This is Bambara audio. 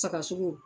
Sagasogo